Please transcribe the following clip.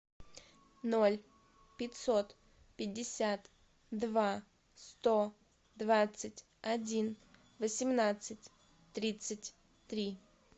ноль пятьсот пятьдесят два сто двадцать один восемнадцать тридцать три